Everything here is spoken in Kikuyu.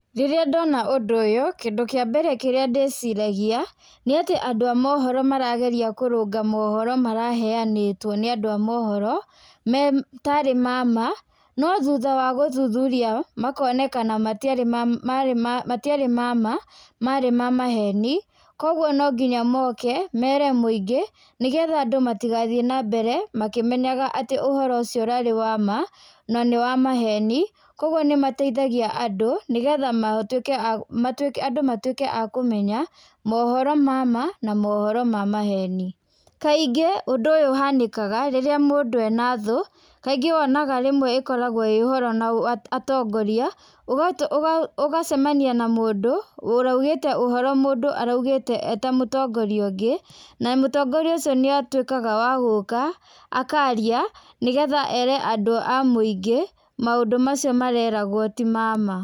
Rĩrĩa ndona ũndũ ũyũ, kĩndũ kĩa mbere kĩrĩa ndĩciragia, nĩ atĩ andũ a mohoro marageria kũrũnga mohoro maraheanĩtwo nĩ andũ a mohoro, me tarĩ ma ma no thutha wa gũthuthuria, makonekana matiarĩ marĩ ma matiarĩ ma ma marĩ ma maheni, kũguo no nginya moke mere mũingĩ nĩ getha andũ matigathiĩ na mbere makĩmenyaga atĩ ũhoro ũcio ũrarĩ wa ma na nĩ wa maheni, kũguo nĩ mateithagia andũ nĩ getha matuĩke andũ matuĩke a kũmenya, mohoro ma ma na mohoro ma maheni. Kaingĩ, ũndũ ũyũ ũhanĩkaga rĩrĩa mũndũ ena thũ kaingĩ wonaga rĩmwe ĩkoragwo ĩĩ ũhoro na atongoria, ũgacemania na mũndũ ũraugĩte ũhoro mũndũ araugĩte ee ta mũtongoria ũngĩ, na mũtongoria ũcio nĩ atuĩkaga wa gũka akaaria, nĩ getha ere andũ a mũingĩ, maũndũ macio mareragwo ti ma ma.